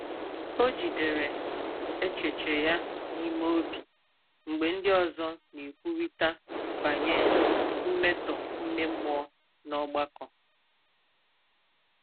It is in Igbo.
Ọ jìdèrè èchèche ya n’ìme ọ̀bị mgbe ndị òzò na-ekwùrìtà bànyè mmetọ̀ ime mmụọ n’ọ̀gbàkọ.